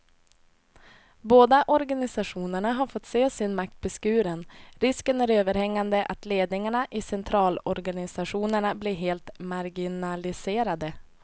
Båda organisationerna har fått se sin makt beskuren, risken är överhängande att ledningarna i centralorganisationerna blir helt marginaliserade.